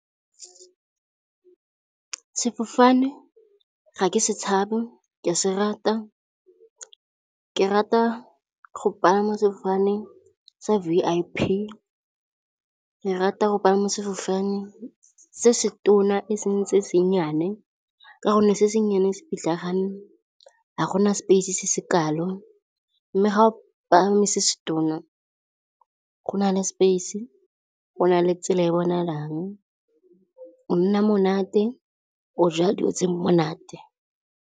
Sefofane ga ke se tshabe ke a se rata. Ke rata go pagama sefofane sa V_I_P, ke rata go pagama sefofane se se tona eseng se se nnyane. Ka gonne se se nnyane se pitlagane, ga gona space-e se se kalo. Mme ga o palame se se tona go na le space, go na le tsela e bonalang. O nna monate, o ja dijo tse di monate.